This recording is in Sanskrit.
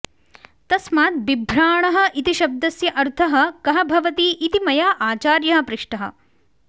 तस्मात् बिभ्राणः इति शब्दस्य अर्थः कः भवति इति मया आचार्यः पृष्टः